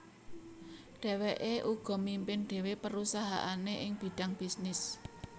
Dhèwèké uga mimpin dhéwé perusahaané ing bidang bisnis